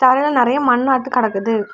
கீழ நறைய மண் வந்து கிடக்குது.